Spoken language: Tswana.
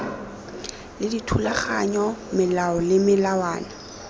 le dithulaganyo melao le melawana